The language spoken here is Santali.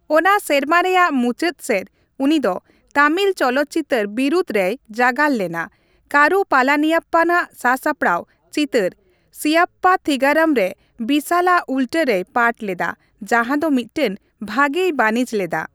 ᱚᱱᱟ ᱥᱮᱨᱢᱟ ᱨᱮᱭᱟᱜ ᱢᱩᱪᱟᱹᱫ ᱥᱮᱡ, ᱩᱱᱤ ᱫᱚ ᱛᱟᱢᱤᱞ ᱪᱚᱞᱚᱛ ᱪᱤᱛᱟᱹᱨ ᱵᱤᱨᱩᱫᱷ ᱨᱮᱭ ᱡᱟᱜᱟᱨ ᱞᱮᱱᱟ, ᱠᱟᱨᱩ ᱯᱟᱞᱟᱱᱤᱭᱟᱯᱯᱟᱱᱼᱟᱜ ᱥᱟᱥᱟᱯᱟᱨᱟᱣ ᱪᱤᱛᱟᱹᱨ ᱥᱤᱣᱟᱯᱯᱟᱛᱷᱤᱜᱟᱨᱚᱢ ᱨᱮ ᱵᱤᱥᱟᱞ ᱟᱜ ᱩᱞᱴᱟᱹ ᱨᱮᱭ ᱯᱟᱴ ᱞᱮᱫᱟ, ᱡᱟᱦᱟᱸ ᱫᱚ ᱢᱤᱫᱴᱟᱝ ᱵᱷᱟᱜᱮᱭ ᱵᱟᱹᱱᱤᱡ ᱞᱮᱫᱟ ᱾